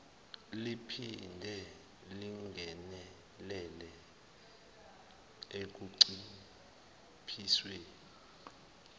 liphinde lingenelele ekunciphiseni